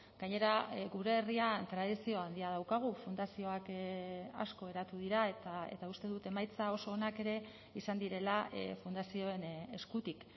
gainera gure herrian tradizio handia daukagu fundazioak asko eratu dira eta uste dut emaitza oso onak ere izan direla fundazioen eskutik